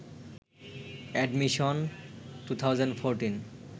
admission 2014